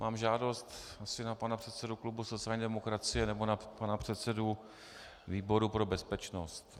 Mám žádost asi na pana předsedu klubu sociální demokracie nebo na pana předsedu výboru pro bezpečnost.